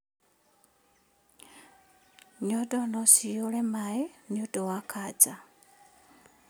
Nyondo nocihũre maĩ nĩũndũ wa kanja